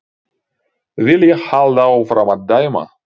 Vil ég halda áfram að dæma?